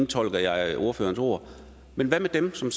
tolker jeg ordførerens ord men hvad med dem som